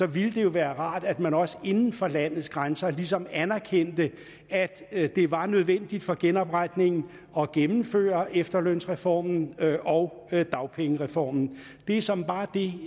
ville det jo være rart at man også inden for landets grænser ligesom anerkendte at at det var nødvendigt for genopretningen af at gennemføre efterlønsreformen og dagpengereformen det er såmænd bare det